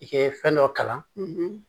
I ye fɛn dɔ kalan